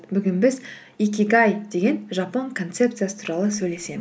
бүгін біз икигай деген жапон концепциясы туралы